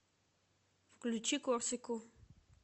включи корсику